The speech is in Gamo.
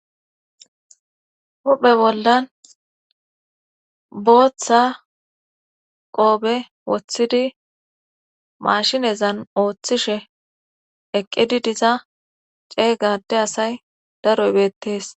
huphe bollan booththa qoobe woththidi mashinezan ooththishe eqqidi diza ceeygade asay daro ibeettees